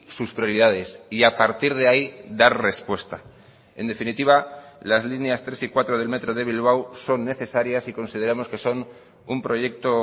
sus prioridades y a partir de ahí dar respuesta en definitiva las líneas tres y cuatro del metro de bilbao son necesarias y consideramos que son un proyecto